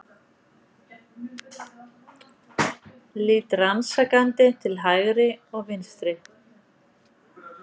Lít rannsakandi til hægri og vinstri.